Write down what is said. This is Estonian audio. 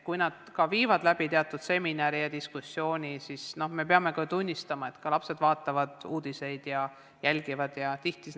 Kui nad ka teevad teatud seminare ja diskussioone, siis me peame ikkagi tunnistama, et lapsed vaatavad uudiseid ja jälgivad ise, mis toimub.